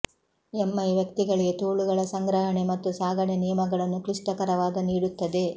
M I ವ್ಯಕ್ತಿಗಳಿಗೆ ತೋಳುಗಳ ಸಂಗ್ರಹಣೆ ಮತ್ತು ಸಾಗಣೆ ನಿಯಮಗಳನ್ನು ಕ್ಲಿಷ್ಟಕರವಾದ ನೀಡುತ್ತದೆ